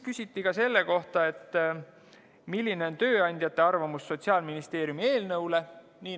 Küsiti, milline on tööandjate arvamus Sotsiaalministeeriumi eelnõu kohta.